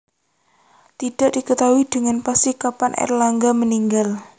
Tidak diketahui dengan pasti kapan Airlangga meninggal